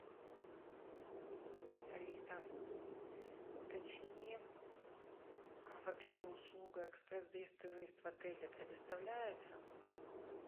алиса уточни вообще услуга экспресс заезд и выезд в отеле предоставляется